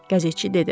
Qəzetçi dedi.